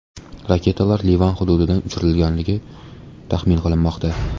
Raketalar Livan hududidan uchirilganligi taxmin qilinmoqda.